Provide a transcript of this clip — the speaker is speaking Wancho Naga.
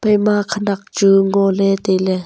ema khanak chu ngo ley tai ley.